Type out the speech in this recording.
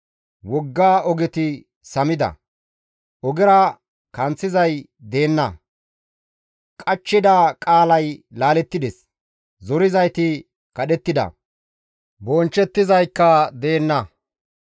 Wogga ogeti samida; ogera kanththizay deenna. Qachchida qaalay laalettides; zorizayti kadhettida; bonchchettizaykka deenna.